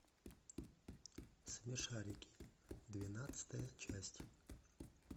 смешарики двенадцатая часть